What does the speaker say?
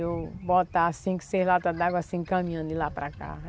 Eu botar cinco, seis latas d'água, assim, caminhando de lá para cá.